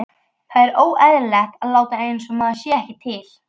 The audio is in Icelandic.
Það er óeðlilegt að láta einsog maður sé ekki til.